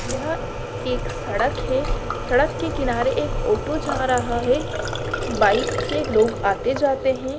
यह एक सड़क है सड़क के किनारे एक ओटो जा रहा है। बाइक से लोग आते जाते हैं।